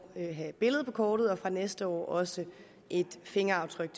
have billede på kortet og fra næste år også fingeraftryk